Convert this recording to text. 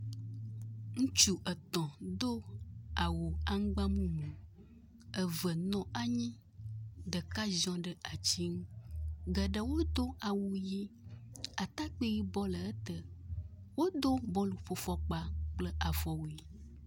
Ŋutsu etɔ̃ do awu aŋgba mumu. Eve nɔ anyi, ɖeka dziɔ ɖe ati ŋu. Geɖe wodo awu ʋi. Atakpui yibɔ le ete. Wodo bɔluƒofɔkpa kple afɔwui.